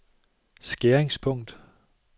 skæringspunkt